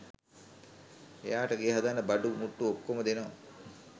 එයාට ගේ හදන්න බඩු මුට්ටු ඔක්කොම දෙනවා